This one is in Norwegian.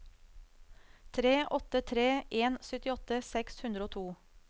tre åtte tre en syttiåtte seks hundre og to